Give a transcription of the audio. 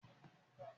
Ọ̀kùn ọmọ ìyá yi.